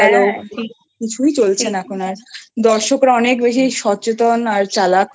কিছুই চলছে না এখন আর দর্শকরা অনেক বেশি সচেতন আর চালাক একদম